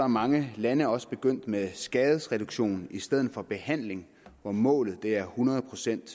mange lande også er begyndt med skadesreduktion i stedet for behandling hvor målet er hundrede procent